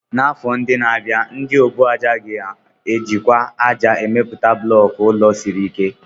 n'afọ ndị na-abịa, ndị ọbụàjà ka ga-ejikwa ájá emepụta bulọku ụlọ siri ike.